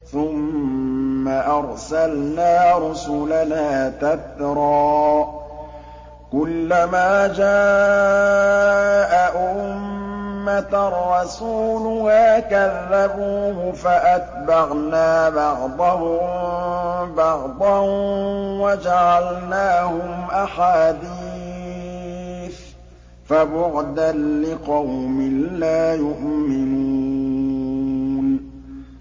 ثُمَّ أَرْسَلْنَا رُسُلَنَا تَتْرَىٰ ۖ كُلَّ مَا جَاءَ أُمَّةً رَّسُولُهَا كَذَّبُوهُ ۚ فَأَتْبَعْنَا بَعْضَهُم بَعْضًا وَجَعَلْنَاهُمْ أَحَادِيثَ ۚ فَبُعْدًا لِّقَوْمٍ لَّا يُؤْمِنُونَ